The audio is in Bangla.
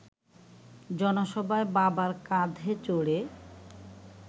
জনসভায় বাবার কাঁধে চড়ে